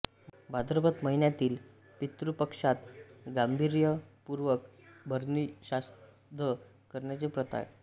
भाद्रपद महिन्यातील पितृपक्षात गांभीर्यपूर्वक भरणीश्राद्ध करण्याची प्रथा आहे